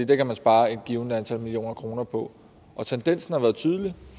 det kan man spare et givent antal millioner kroner på og tendensen har været tydelig